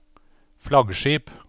flaggskip